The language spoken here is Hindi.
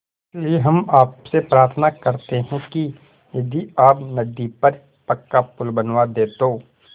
इसलिए हम आपसे प्रार्थना करते हैं कि यदि आप नदी पर पक्का पुल बनवा दे तो